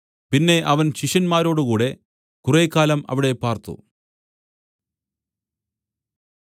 പിന്നെ അവൻ ശിഷ്യന്മാരോടുകൂടെ കുറേക്കാലം അവിടെ പാർത്തു